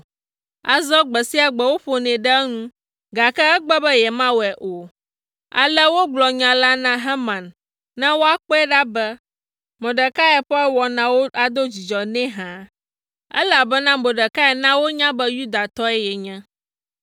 Azɔ gbe sia gbe woƒonɛ ɖe enu, gake egbe be yemawɔe o. Ale wogblɔ nya la na Haman ne woakpɔe ɖa be, Mordekai ƒe wɔnawo ado dzidzɔ nɛ hã, elabena Mordekai na wonya be Yudatɔe yenye.